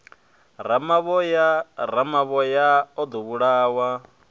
ramavhoya ramavhoya o ḓo vhulawa